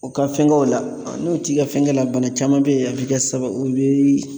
U ka fɛnkɛw la , n'u t'i ka fɛngɛ la, bana caman be ye , a bi kɛ sababu ye o bi